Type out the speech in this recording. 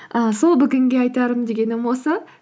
і сол бүгінге айтарым дегенім осы